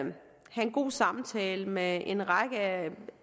have en god samtale med en række